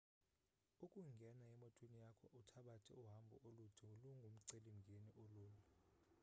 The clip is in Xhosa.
ukungena emotweni yakho uthabathe uhambo olude lungumceli mngeni olula